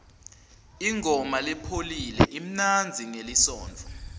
ingoma lepholile imnanzi ngelisontfo